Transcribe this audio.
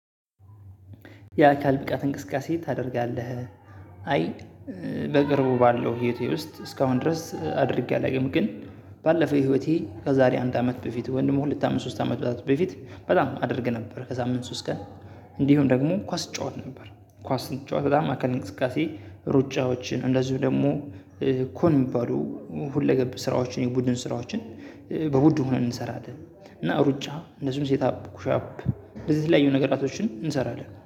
የአካል ብቃት እንቅስቃሴ ታደርጋለህ? አይ በቅርቡ ባለው ህይወቴ ውስጥ እስካሁን ድረስ አድርጌ አላውቅም። ግን ባለፈው ህይወቴ ከዛሬ አንድ አመት በፊት ወንድሙ ሁለት አመት ሶስት አመት በፊት በጣም አደረገ ነበር። ከዛ ምን ሶስት ቀን እንዲሁም ደግሞ ኳስ እጫወት ነበር። ኳስ ስጫወት በጣም አካል እንቅስቃሴ ሩጫዎችን እንደዚሁ ደግሞ ኮን የሚባሉ ሁለገብ ስራዎችን የቡድን ስራዎችን በውድ ሆነን እንሰራለን። እና ሩጫ እነሱን ሴት አፕ ኩሻፕ እንደዚህ ላይ የሆነ ነገር አቶችን እንሰራለን